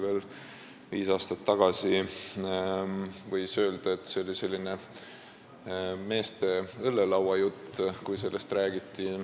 Veel viis aastat tagasi võis öelda, et kui sellest räägiti, siis see oli selline meeste õllelauajutt.